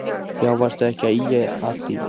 Já varstu ekki að ýja að því.